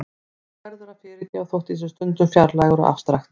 Þú verður að fyrirgefa þótt ég sé stundum fjarlægur og afstrakt.